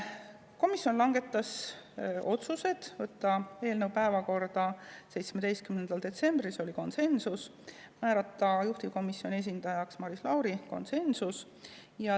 Komisjon langetas otsused: võtta eelnõu päevakorda 17. detsembril, siin oli konsensus, ja määrata juhtivkomisjoni esindajaks Maris Lauri, konsensus.